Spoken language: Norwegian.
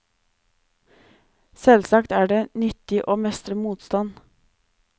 Selvsagt er det nyttig å mestre motstand.